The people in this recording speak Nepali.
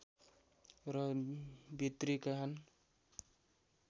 र भित्री कान